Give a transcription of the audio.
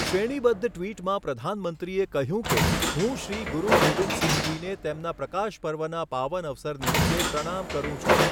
શ્રેણીબદ્ધ ટિ્વટમાં પ્રધાનમંત્રીએ કહ્યું કે, હું શ્રી ગુરુ ગોવિંદસિંહજીને તેમના પ્રકાશ પર્વના પાવન અવસર નિમિત્તે પ્રણામ કરું છું.